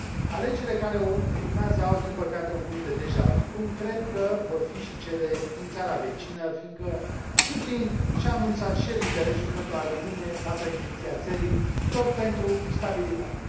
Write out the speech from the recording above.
Alegerile care urmează au, din păcate, un gust de cum cred că vor fi și cele din țara vecină, fiindcă Putin și a anunțat și el interesul pentru a rămâne la președinția țării, tot pentru stabilitate.